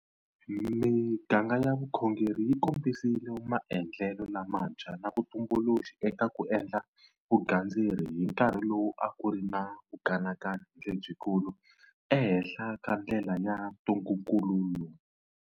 Miganga ya vukhongeri yi kombisile maendlelo lamantshwa na vutumbuluxi eka ku endla vugandzeri hi nkarhi lowu a ku ri na vukanakani lebyikulu ehenhla ka ndlela ya ntungukulu lowu.